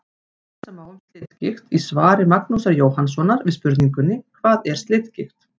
Lesa má um slitgigt í svari Magnúsar Jóhannssonar við spurningunni: Hvað er slitgigt?